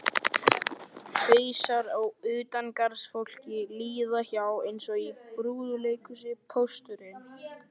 Hausar á utangarðsfólki líða hjá eins og í brúðuleikhúsi: Pósturinn